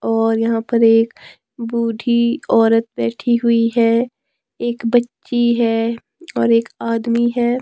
और यहां पर एक बूढी औरत बैठी हुई है एक बच्ची है और एक आदमी है।